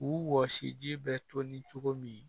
U wɔsi ji bɛ to ni cogo min